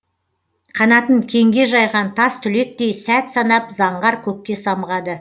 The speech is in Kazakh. қанатын кеңге жайған тастүлектей сәт санап заңғар көкке самғады